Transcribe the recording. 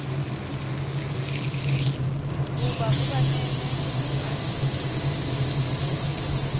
ho ba o ba nehe